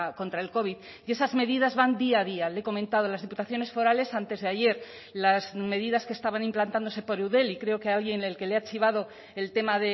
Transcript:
contra el covid y esas medidas van día a día le he comentado las diputaciones forales antes de ayer las medidas que estaban implantándose por eudel y creo que a alguien el que le ha chivado el tema